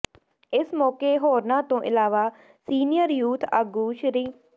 ਇਸ ਮੌਕੇ ਹੋਰਨਾਂ ਤੋਂ ਇਲਾਵਾ ਸੀਨੀਅਰ ਯੂਥ ਆਗੂ ਸ੍ਰ